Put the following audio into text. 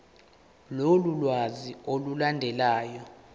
lolu lwazi olulandelayo